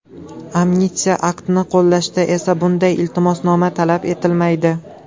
Amnistiya aktini qo‘llashda esa bunday iltimosnoma talab etilmaydi.